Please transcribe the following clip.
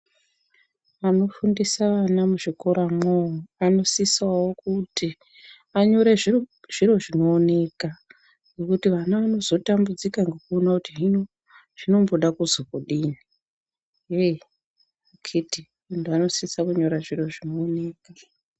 Vanofundisa vana muzvikoramwo vanosisawo kuti vanyore zviro zvinooneka ngekuti vana vanozotambudzika ngekuona kuti hino zvinomboda kuzwi kudii heyi akhiti muntu anosisa kunyora zviro zvinooneka.